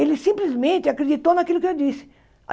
Ele simplesmente acreditou naquilo que eu disse.